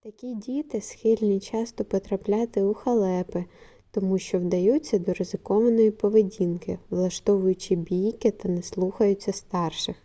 такі діти схильні часто потрапляти у халепи тому що вдаються до ризикованої поведінки влаштовують бійки та не слухаються старших